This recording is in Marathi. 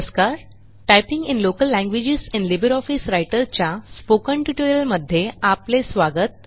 typing in local languages in LibreOffice Writer च्या स्पोकन ट्युटोरियलमध्ये आपले स्वागत